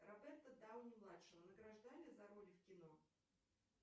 роберта дауни младшего награждали за роли в кино